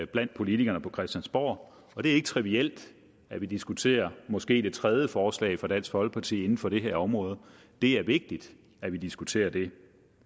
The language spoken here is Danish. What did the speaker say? blandt politikerne på christiansborg og det er ikke trivielt at vi diskuterer måske det tredje forslag fra dansk folkeparti inden for det her område det er vigtigt at vi diskuterer det